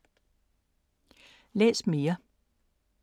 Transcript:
Læs mere